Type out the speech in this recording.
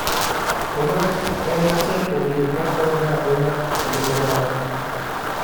Odok en achiel kuom gik ma konyo ahinya e ngima dhano.